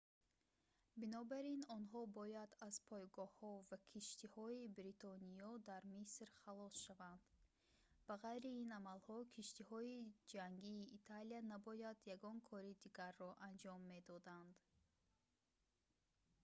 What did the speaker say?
бинобар ин онҳо бояд аз пойгоҳҳо ва киштиҳои бритониё дар миср халос шаванд ба ғайри ин амалҳо киштиҳои ҷангии италия набояд ягон кори дигарро анҷом медоданд